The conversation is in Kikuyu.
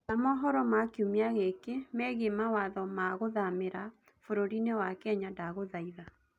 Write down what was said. etha mohoro ma kĩumĩa giki meegĩe mawatho ma guthamira bũrũrĩĩni kenya ndagũthaĩtha